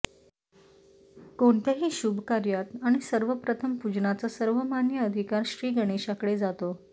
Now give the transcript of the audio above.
कोणत्याही शुभ कार्यात आणि सर्वप्रथम पूजनाचा सर्वमान्य अधिकार श्री गणेशाकडे जातो